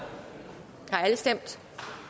alle stemt